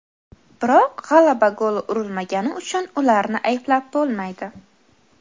Biroq g‘alaba goli urilmagani uchun ularni ayblab bo‘lmaydi.